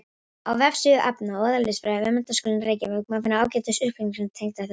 Á vefsíðu efna- og eðlisfræði við Menntaskólann í Reykjavík má finna ágætis upplýsingar tengdar þessu.